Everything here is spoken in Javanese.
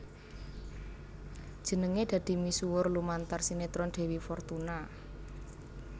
Jenengé dadi misuwur lumantar sinetron Dewi Fortuna